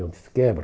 Eu disse, quebra.